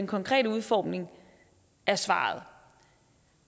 konkrete udformning er svaret